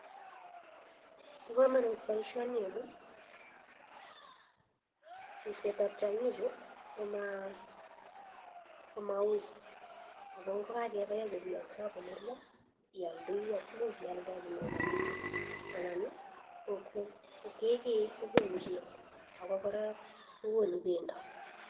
Bo kamanut boisioni amun ripsetab tiongichu komauui ako ngakepai ako piongso ako nerio ialdei ako much ialde inyoru rapishek anan kekei kokonu chego ako kora kokonu pendo.